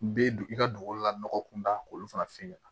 N bɛ dugu i ka dugukolo la nɔgɔ kunda k'olu fana f'i ɲɛna